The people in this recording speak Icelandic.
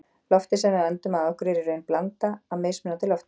Loftið sem við öndum að okkur er í raun blanda af mismunandi lofttegundum.